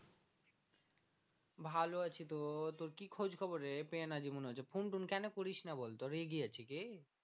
ভালো আছি তো তোর কি খোজ খবর রে phone টোন কেন করিস না বল তো রেগে আছে কি?